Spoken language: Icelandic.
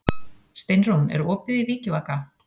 Steinrún, er opið í Vikivaka?